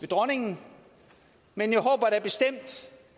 dronningen men jeg håber da bestemt